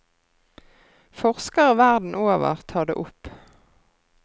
Forskere verden over tar det opp.